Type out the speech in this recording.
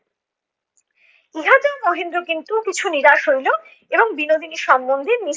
ইহাতেও মহেন্দ্র কিন্তু কিছু নিরাশ হইলো এবং বিনোদিনী সম্বন্ধে নিস~